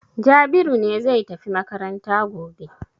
Jabiru ne zai tafi makaranta gobe.